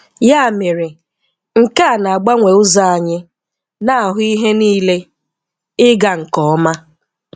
Yà mèrè, nkè a na-agbanwè ụzọ̀ anyị na-ahụ̀ ihe niilè. Ị̀gà nkè Ọmà.